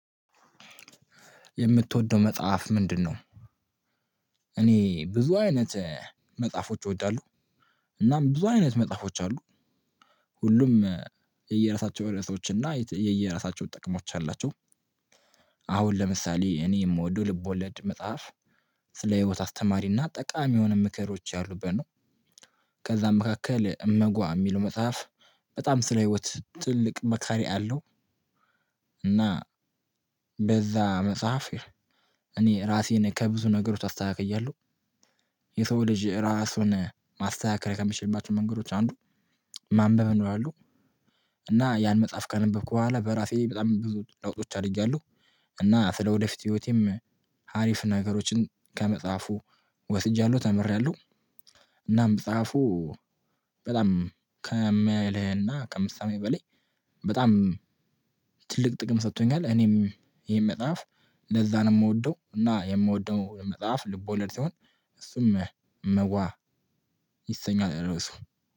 የምትወዳው መጽሐፍ ምንድነው? እኔ ብዙ አይነት መጽሐፎች እወዳለሁ። እና ብዙ አይነት መጽሐፎች አሉ። ሁሉም የየራሳቸው ርእሶችና የየራሳቸው ጥቅሞች አሏቸው። አሁን ለምሳሌ እኔ የምወደው ልቦለድ መጽሐፍ ስለ ህይወት አስተማሪና ጠቃሚ የሆኑ ምክሮች ያሉበን ነው፤ ከዛም መካከል እመጓ የሚለው መጽሐፍ በጣም ስለ ህይወት ትልቅ መካሪ አለው፤ እና በዛ መጽሐፍ እኔ ራሴን ከብዙ ነገሮች አስተካክያለሁ። የሰው ልጅ ራሱን ማስተካከል ከምችልባቸው መንገዶች አንዱ ማንበብ ነው አንዱ እና ያን መጽሐፍ ከነበብኩ በኋላ በራሴ በጣም ብዙ ለውጦች አድርጌያለሁ። እና ስለወደፊት ህይወቴም ሀሪፍ ነገሮችን ከመጽሐፉ ወስጃለሁ ተምሬያለሁ፣ እናም መፃፉ በጣም ከማያልህና ከምሳሌ በላይ በጣም ትልቅ ጥቅም ሰጥቶኛል እኔም ይሄን መጽሐፍ ለዛ ነው የምወደው እና የምወደው መጽሐፍ ልቦለድ ሲሆን እሱም እመጓ ይሰኛል ርዕሱ።